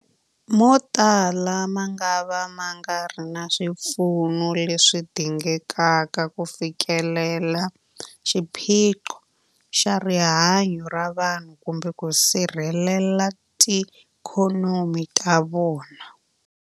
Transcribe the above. Motala mangava ma nga ri na swipfuno leswi dingekaka ku fikelela xiphiqo xa rihanyu ra vanhu kumbe ku sirhelela tiikhonomi ta vona.